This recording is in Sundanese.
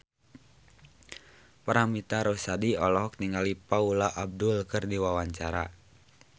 Paramitha Rusady olohok ningali Paula Abdul keur diwawancara